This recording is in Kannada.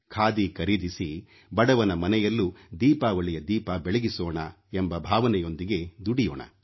ಖಾದಿ ಖರೀದಿಸಿ ಬಡವನ ಮನೆಯಲ್ಲೂ ದೀಪಾವಳಿಯ ದೀಪ ಬೆಳಗಿಸೋಣ ಎಂಬ ಭಾವನೆಯೊಂದಿಗೆ ದುಡಿಯೋಣ